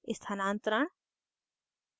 स्थानान्तरण